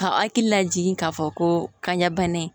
Ka hakili lajigin k'a fɔ ko kanɲɛ bana in